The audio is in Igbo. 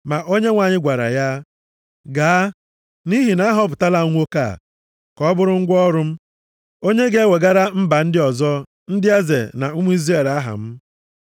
Ma Onyenwe anyị gwara ya, “Gaa, nʼihi na ahọpụtala m nwoke a ka ọ bụrụ ngwa ọrụ m, onye ga-ewegara mba ndị ọzọ, ndị eze na ụmụ Izrel aha m.